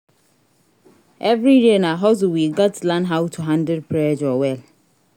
Every day na hustle we gats learn how to handle pressure well.